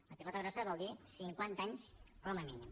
la pilota grossa vol dir cinquanta anys com a mínim